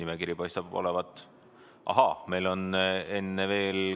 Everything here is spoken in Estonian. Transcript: Aga enne veel annan sõna Kalle Grünthalile.